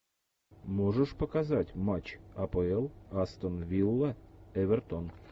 можешь показать матч апл астон вилла эвертон